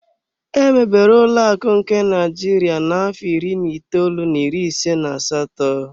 Emebere ụlọakụ nke Naịjirịa na-afọ iri na itoolu na iri ise na asatọ.